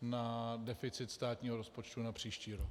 na deficit státního rozpočtu na příští rok.